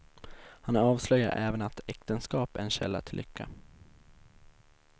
Han avslöjar även att äktenskap är en källa till lycka.